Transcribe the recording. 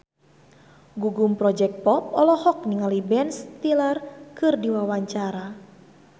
Gugum Project Pop olohok ningali Ben Stiller keur diwawancara